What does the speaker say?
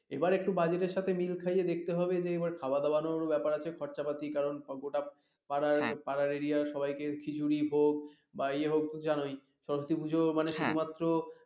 এবার একটু budget এর সাথে মিল খাইয়ে দেখতে হবে যে এবার খাওয়া দাওয়ানোর ব্যাপার আছে খরচাপাতি কারন গোটা পাড়ার পাড়ার এরিয়া র সবাইকে খিচুড়ি ভোগ বা ইয়ে হোক জানোই সরস্বতী পুজো মানে শুধুমাত্র